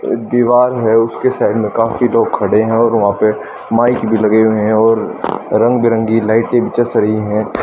दीवार है उसके साइड में काफी लोग खड़े हैं और वहां पे माइक भी लगे हुए हैं और रंग बिरंगी लाइटें भी जस री है।